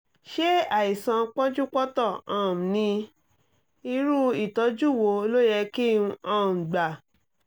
ṣé àìsàn pọ́njúpọ́ntọ̀ um ni? irú ìtọ́jú wo ló yẹ kí n um gbà?